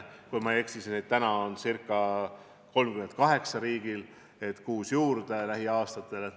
Kui ma ei eksi, siis praegu on neid riigil ca 38, ja kuus rongi tuleb lähiaastatel juurde.